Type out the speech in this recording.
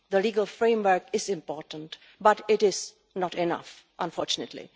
cut. The legal framework is important, but it is not enough, unfortunately.